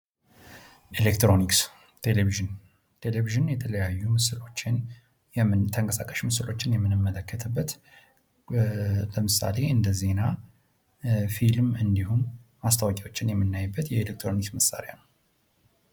ኤሌክትሮኒክስ ቴሌቭዥን ቴሌቭዥን የተለያዩ ተንቀሳቃሽ ምስሎችን የምንመለከትበት ለምሳሌ እንደ ዜና ፊልም እንዲሁም ማስታወቂያዎችን የምንመለከትበት የኤሌክትሮኒክስ መሳሪያ ነው።